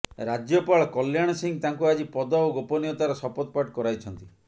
ରାଜ୍ୟପାଳ କଲ୍ୟାଣ ସିଂହ ତାଙ୍କୁ ଆଜି ପଦ ଓ ଗୋପନୀୟତାର ଶପଥ ପାଠ କରାଇଛନ୍ତି